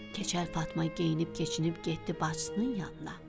Keçəl Fatma geyinib-keçinib getdi bacısının yanına.